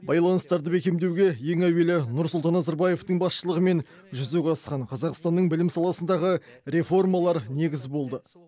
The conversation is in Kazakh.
байланыстарды бекемдеуге ең әуелі нұрсұлтан назарбаевтың басшылығымен жүзеге асқан қазақстанның білім саласындағы реформалар негіз болды